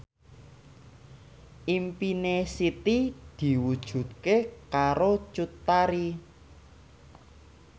impine Siti diwujudke karo Cut Tari